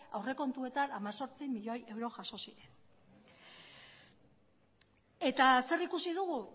aurrekontuetan hemezortzi milioi euro jaso ziren eta zer ikusi dugu